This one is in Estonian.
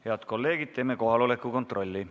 Head kolleegid, teeme kohaloleku kontrolli.